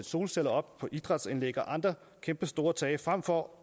solceller op på idrætsanlæg og andre kæmpestore tage frem for